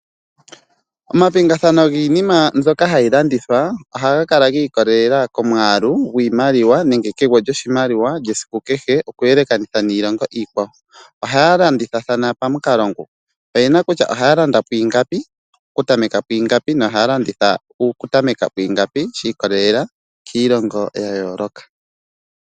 Omapingathano giinima mbyoka hayi landithwa ohaga kala giikolelela komwaalu gwiimaliwa nenge kegwo lyoshimaliwa esiku kehe, okuyelekanitha niilongo iikwawo. Ohaya landithathana pamukalo nguka, oyena kutya ohaya landa ku ingapi, ku tameka kwiingapi, nohaya landitha okutameka kwiingapi shi ikolelela kiilongo ya yooloka.